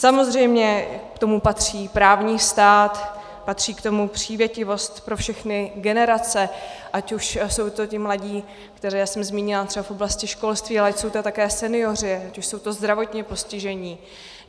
Samozřejmě k tomu patří právní stát, patří k tomu přívětivost pro všechny generace, ať už jsou to ti mladí, které jsem zmínila třeba v oblasti školství, ale jsou to také senioři, ať už jsou to zdravotně postižení.